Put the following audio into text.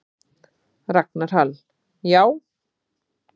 Ragnar Hall: Já.